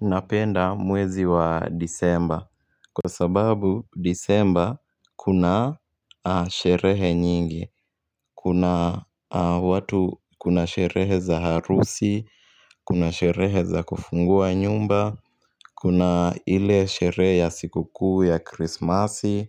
Napenda mwezi wa disemba. Kwa sababu disemba kuna sherehe nyingi. Kuna watu kuna sherehe za harusi, kuna sherehe za kufungua nyumba, kuna ile sherehe ya siku kuu ya krismasi,